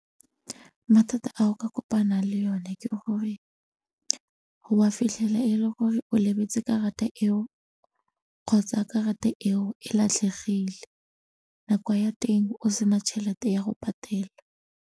Mathata a o ka kopanang le yone ke gore o ka fitlhela e le gore o lebetse karata eo kgotsa karata eo e latlhegile nako ya teng o sena tšhelete ya go patela.